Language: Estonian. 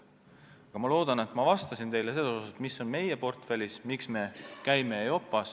Ma loodan, et ma vastasin teile selles osas, mis on meie portfellis ja miks me käime EIOPA-s.